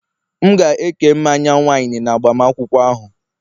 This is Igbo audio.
M ga-eke mmanya wine, n'agbamakwụkwọ ahụ